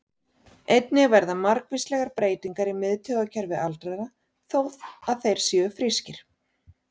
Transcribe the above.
Einnig verða margvíslegar breytingar í miðtaugakerfi aldraðra, þó að þeir séu frískir.